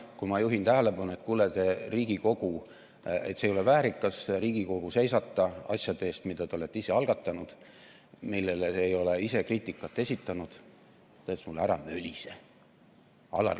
Kui ma juhtisin tähelepanu, et kuule, ei ole väärikas Riigikogu seisata asjade eest, mille te olete ise algatanud, millele te ei ole kriitikat esitanud, siis ta ütles mulle: "Ära mölise!